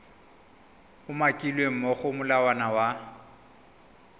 umakilweng mo go molawana wa